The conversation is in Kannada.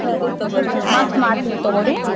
ಸರಿ ತಗೋರಿ ಮತ್ತ್ ಮಾಡ್ತೇನ್ ತಗೋರಿ.